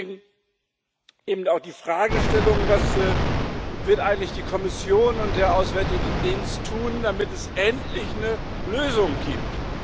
Und deswegen eben auch die Fragestellung Was werden eigentlich die Kommission und der Auswärtige Dienst tun, damit es endlich eine Lösung gibt?